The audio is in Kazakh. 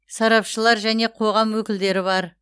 сарапшылар және қоғам өкілдері бар